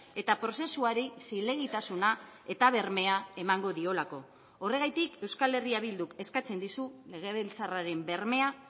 eta prozesuari zilegitasuna eta bermea emango diolako horregatik euskal herria bilduk eskatzen dizu legebiltzarraren bermea